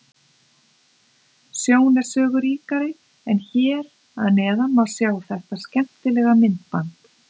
Sjón er sögu ríkari en hér að neðan má sjá þetta skemmtilega myndband.